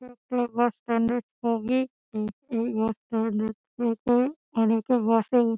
এটা একটা bus stand -এর ছবি। এই বাস স্ট্যান্ড -এর থেকে অনেকে বাস -এ --